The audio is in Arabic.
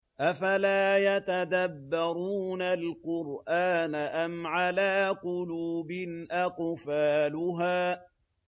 أَفَلَا يَتَدَبَّرُونَ الْقُرْآنَ أَمْ عَلَىٰ قُلُوبٍ أَقْفَالُهَا